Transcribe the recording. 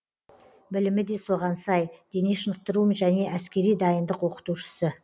білімі де соған сай дене шынықтыру және әскери дайындық оқытушысы